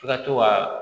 F'i ka to ka